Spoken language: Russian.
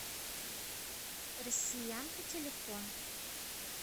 россиянка телефон